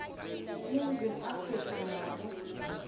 eningizimu afrika nobe